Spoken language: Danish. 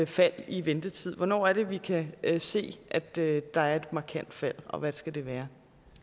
fald i ventetiden hvornår er det vi kan kan se at der der er et markant fald og hvad skal det være